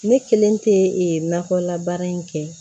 Ne kelen tɛ nakɔla baara in kɛ